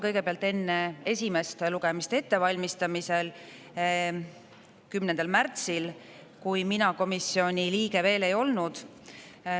Kõigepealt enne esimest lugemist ettevalmistamisel 10. märtsil, kui mina komisjoni liige veel ei olnud.